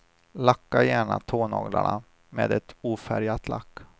Lacka gärna tånaglarna med ett ofärgat lack.